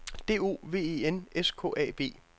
D O V E N S K A B